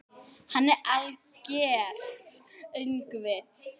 Hann er algert öngvit!